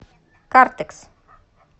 картекс